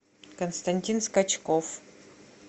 константин скачков